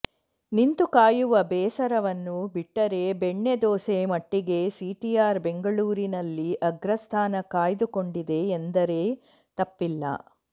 ನಿಂತು ಕಾಯುವ ಬೇಸರವನ್ನು ಬಿಟ್ಟರೆ ಬೆಣ್ಣೆ ದೋಸೆ ಮಟ್ಟಿಗೆ ಸಿಟಿಆರ್ ಬೆಂಗಳೂರಿನಲ್ಲಿ ಅಗ್ರಸ್ಥಾನ ಕಾಯ್ದುಕೊಂದಿದೆ ಎಂದರೆ ತಪ್ಪಿಲ್ಲ